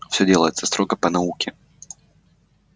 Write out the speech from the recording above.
всё делается строго по науке